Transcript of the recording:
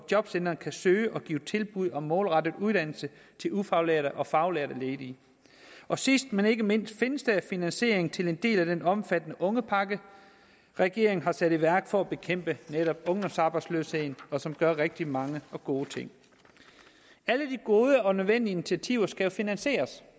jobcentrene kan søge kan give tilbud om målrettet uddannelse til ufaglærte og faglærte ledige og sidst men ikke mindst findes der finansiering til en del af den omfattende ungepakke regeringen har sat i værk for at bekæmpe netop ungdomsarbejdsløsheden og som gør rigtig mange og gode ting alle de gode og nødvendige initiativer skal finansieres